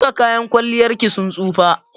Duka kayan kwalliyar ki sun tsofa.